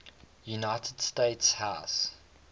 united states house